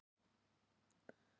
Þér er fært te.